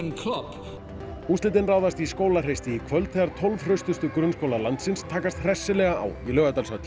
úrslitin ráðast í Skólahreysti í kvöld þegar tólf hraustustu grunnskólar landsins takast hressilega á í Laugardalshöll